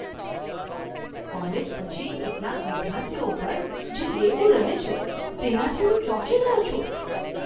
College પછી કેટલાક વિદ્યાર્થીઓ પર જે દેવું રહે છે તેનાથી હું ચોંકી ગયો છું.